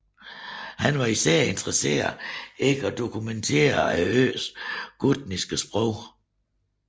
Han var især interesseret i at dokumentere øens gutniske sprog